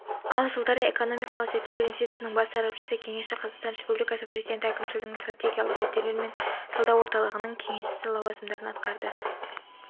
ал жылдары экономикалық зерттеулер институтының бас сарапшысы кеңесші қазақстан республикасы президенті әкімшілігінің стратегиялық зерттеулер және талдау орталығының кеңесшісі лауазымдарын атқарды